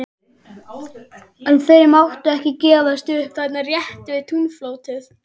En þau máttu ekki gefast upp þarna rétt við túnfótinn.